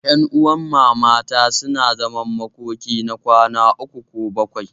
Ƴanuwan mamata suna zaman makoki na kwana uku ko bakwai.